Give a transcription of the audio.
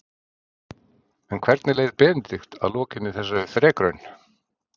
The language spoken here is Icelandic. En hvernig leið Benedikt að lokinni þessari þrekraun?